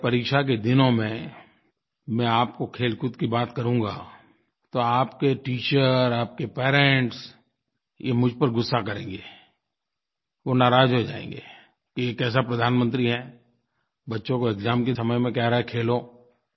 अगर परीक्षा के दिनों में मैं आपको खेलकूद की बात करूँगा तो आपके टीचर आपके पेरेंट्स ये मुझ पर गुस्सा करेंगे वो नाराज़ हो जाएँगे कि ये कैसा प्रधानमंत्री है बच्चों को एक्साम के समय में कह रहा है खेलो